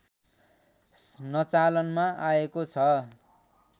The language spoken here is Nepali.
स्नचालनमा आएको छ